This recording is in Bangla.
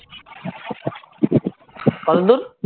কতদূর?